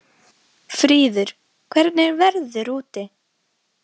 Fríður, hvernig er veðrið úti?